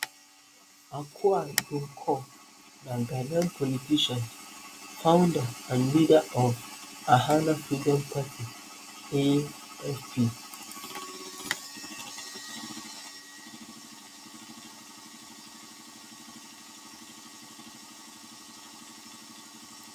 akua donkor na ghanaian politician founder and leader of ghana freedom party gfp